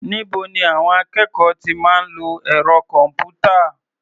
Níbo ni àwọn akẹ́kọ̀ọ́ ti máa ń lo ẹ̀rọ kọ̀m̀pútà?